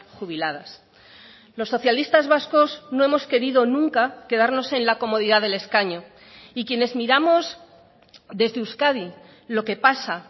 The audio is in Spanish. jubiladas los socialistas vascos no hemos querido nunca quedarnos en la comodidad del escaño y quienes miramos desde euskadi lo que pasa